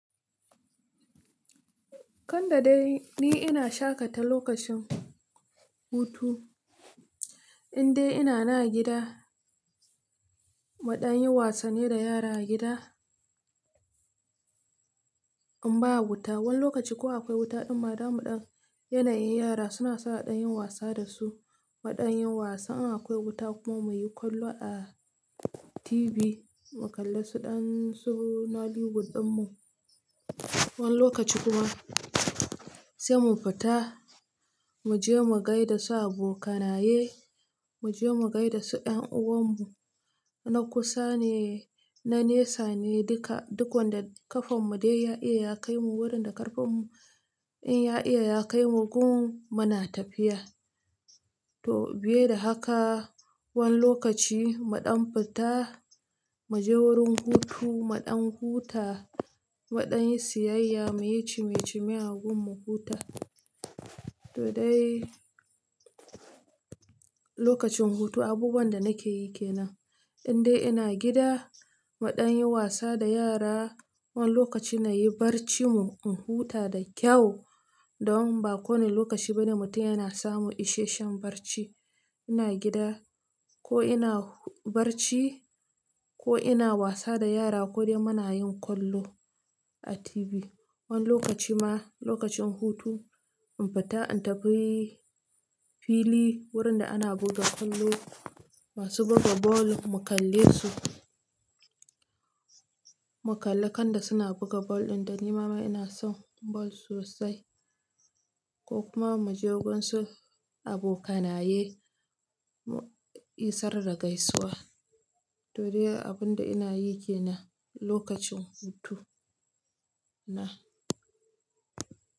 Kanda dai ni ina shaƙata lokacin hutu, in dai ina na gida, maɗan yin wasanni da yara a gida in ba wuta. Wani lokaci ko akwai wuta in ma damu ɗam yanayin yara suna a ɗan yin wasa dasu, a ɗan yin wasa in akwai wuta kuma muyi kwallo a TV mu kalli su ɗan su nollywood ɗin mu. Wani lokaci kuma sai mu fita, mu je mu gaida su abokanaye, mu je mu gaida su ɗan uwan mu na kusa ne, na nesa ne duka. Duk wanda ƙafan mu dai ya iya ya kai mu wurin da ƙarfin in ya iya ya kai mu gun muna tafiya. To biye da haka, wani lokaci mu ɗan fita, mu je wurin hutu, mu ɗan huta, mu ɗanyi siyayya muyi cime cime a gun mu huta. To dai lokacin hutu abubuwan da nake yi ke nan. In dai ina gida mu ɗan yin wasa da yara, wani lokaci nayi barci mun in huta da kyau, don ba kowane lokaci bane mutum yana samu isheshen barci. Ina gida ko ina barci ko ina wasa da yara ko dai muna yin kwallo a TV. Wani lokaci ma lokacin hutu in fita in tafi fili wurin da ana buga kwallo, masu buga ball mu kalle su. Mu kalle kanda suna buga ball ɗin da ni ma ina son ball sosai ko kuma mu je gun su abokanaye, isar da gaisuwa. To dai abun da ina yi ke nan lokacin hutu na.